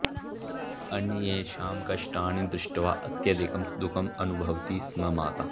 अन्येषां कष्टानि दृष्ट्वा अत्यधिकं दुःखम् अनुभवति स्म माता